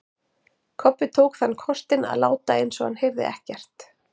Kobbi tók þann kostinn að láta eins og hann heyrði ekkert.